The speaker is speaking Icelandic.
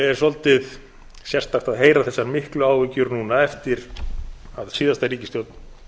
er svolítið sérstakt að heyra þessar miklu áhyggjur núna eftir að síðasta ríkisstjórn